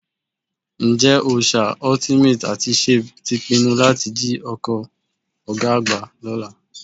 Ǹjẹ́ Òòṣà, Ultimate àti Shape ti pinnu láti jí ọkọ̀ ọ̀gá àgbà lọ́la?